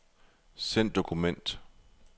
Send dokument.